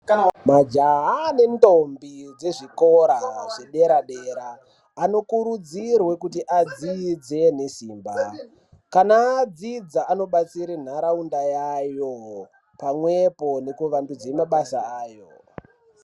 Majaha nendombo dzezvikora zvedera-dera anokuti adzidze nesimba. Kana adzidza anobatsire nharaunda yayo pamwepo nekuwandudza mabasa ayo.